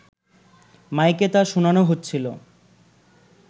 মাইকে তা শোনানো হচ্ছিল